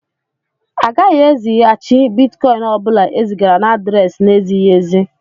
A gaghị ezighàchi Bịtkọin ọbula e zigara na adréési n'ezighị ézi